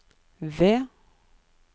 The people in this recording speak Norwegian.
V